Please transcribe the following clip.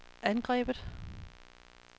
angrebet